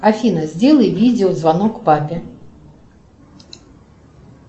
афина сделай видеозвонок папе